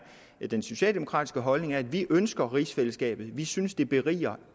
den socialdemokratiske holdning er at vi ønsker rigsfællesskabet vi synes at det beriger